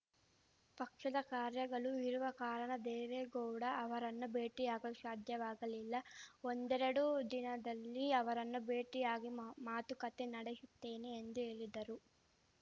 ಪಕ್ಷದ ಕಾರ್ಯಗಳು ಇರುವ ಕಾರಣ ದೇವೇಗೌಡ ಅವರನ್ನು ಭೇಟಿಯಾಗಲು ಶಾಧ್ಯವಾಗಲಿಲ್ಲ ಒಂದೆರಡು ದಿನದಲ್ಲಿ ಅವರನ್ನು ಭೇಟಿಯಾಗಿ ಮಾ ಮಾತುಕತೆ ನಡೆಶುತ್ತೇನೆ ಎಂದು ಹೇಳಿದರು